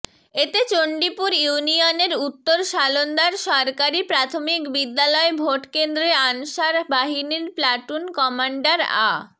এতে চণ্ডিপুর ইউনিয়নের উত্তর শালন্দার সরকারি প্রাথমিক বিদ্যালয় ভোটকেন্দ্রে আনসার বাহিনীর প্লাটুন কমান্ডার আ